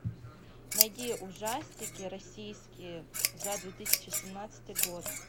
найди ужастики российские за две тысячи семнадцатый год